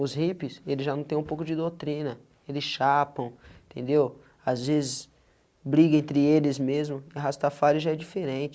Os hippies, eles já não têm um pouco de doutrina, eles chapam, entendeu, as vezes briga entre eles mesmo e a rastafária já é diferente.